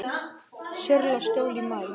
Sörlaskjóli í maí